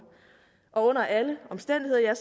og under alle omstændigheder